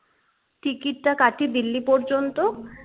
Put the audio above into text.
টিকিটটা কাটি delhi পর্যন্ত?